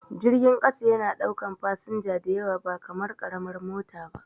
Jirgin ƙasa yana ɗaukan fasinja diyawa ba kamar karamar mota ba